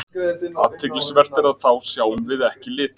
Athyglisvert er að þá sjáum við ekki liti.